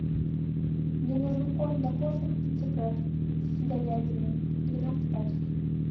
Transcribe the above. мне нужен корм для кошек китикет с говядиной двенадцать пачек